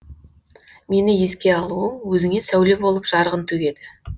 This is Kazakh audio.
мені еске алуың өзіңе сәуле болып жарығын төгеді